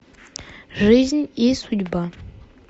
жизнь и судьба